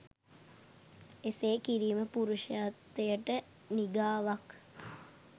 එසේ කිරීම පුරුෂත්වයට නිගාවක්